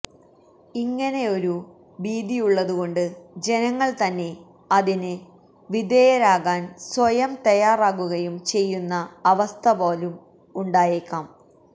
ഇങ്ങനെയൊരു ഭീതിയുള്ളതു കൊണ്ട് ജനങ്ങള് തന്നെ അതിന് വിധേയാരാകാന് സ്വയം തയ്യാറാകുകയും ചെയ്യുന്ന അവസ്ഥ പോലും ഉണ്ടായേക്കാം